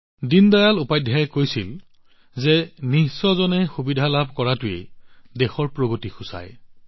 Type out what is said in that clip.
দীনদয়াল উপাধ্যায়জীয়ে কৈছিল যে দেশৰ প্ৰগতিৰ সীমা হৈছে অন্তিম পৰ্যায়ত উপস্থিত থকা ব্যক্তিজনলৈ